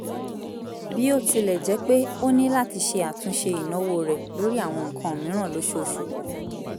bí ó tilẹ̀ jẹ́ pé ó ní láti ṣe àtúnṣe ìnáwó rẹ̀ lórí àwọn nǹkan mìíràn lóṣooṣù kù